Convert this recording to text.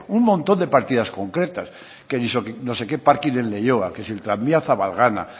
un montón de partidas concretas que no sé qué parking de leioa que si el tranvía en zabalgana